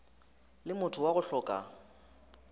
le motho wa go hloka